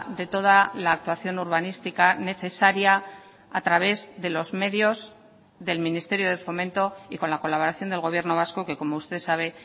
de toda la actuación urbanística necesaria a través de los medios del ministerio de fomento y con la colaboración del gobierno vasco que como usted sabe